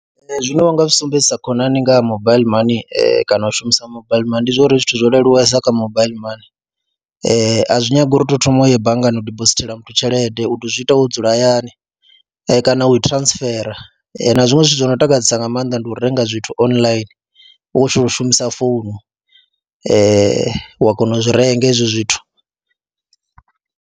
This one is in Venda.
Zwine wa nga zwi sumbedzisa khonani nga mobile money kana u shumisa mobile money ndi zwa uri zwithu zwo leluwesa kha mobile money, a zwi nyagi uri u tou thoma u ye banngani u dibosithela muthu tshelede u tou zwi ita wo dzula hayani kana u transfer na zwiṅwe zwithu zwo no takadzesa nga maanḓa ndi u renga zwithu online, u tshi khou u shumisa founu wa kona u zwi renga hezwo zwithu.